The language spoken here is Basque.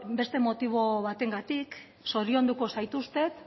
beste motibo batengatik zorionduko zaituztet